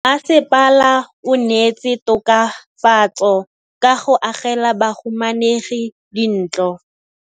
Mmasepala o neetse tokafatsô ka go agela bahumanegi dintlo.